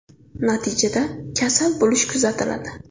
Natijada kasal bo‘lish kuzatiladi.